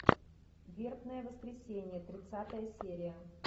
вербное воскресенье тридцатая серия